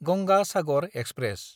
Ganga Sagar express